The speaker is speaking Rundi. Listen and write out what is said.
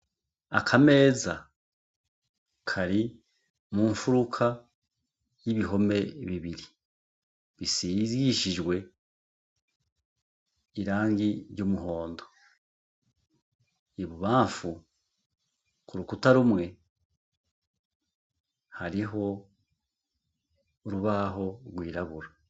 Akameza Kari mu nfuruka y' ibihome bibiri bisigishijwe irangi ry' umuhondo . I bubanfu ,Ku rukuta rumwe, hariho urubaho rwirabura .